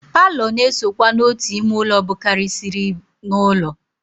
Paalọ na-esokwa n'otu ime ụlọ bụkarịsịrị n'ụlọ.